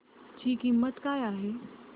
ची किंमत काय आहे